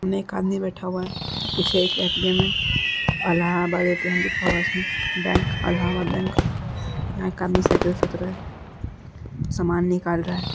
एक आदमी बैठा हुआ है पीछे एक ए.टी.एम. है | अलाहाबाद ए.टी.एम. लिखा हुआ है उसमें बैंक अलाहाबाद बैंक | यहाँ एक आदमी साइकिल से उतरा है समान निकाल रहा है।